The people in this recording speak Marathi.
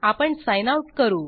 आपण साइन आउट करू